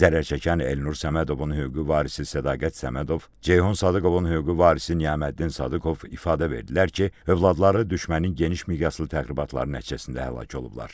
Zərərçəkən Elnur Səmədovun hüquqi varisi Sədaqət Səmədov, Ceyhun Sadıqovun hüquqi varisi Niyaməddin Sadıqov ifadə verdilər ki, övladları düşmənin geniş miqyaslı təxribatları nəticəsində həlak olublar.